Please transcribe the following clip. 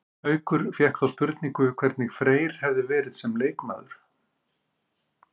Haukur fékk þá spurningu hvernig Freyr hefði verið sem leikmaður?